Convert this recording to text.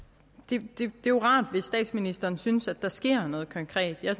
det er jo rart hvis statsministeren synes at der sker noget konkret jeg